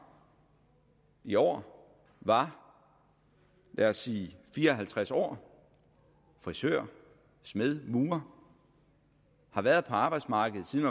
i år var lad os sige fire og halvtreds år frisør smed murer har været på arbejdsmarkedet siden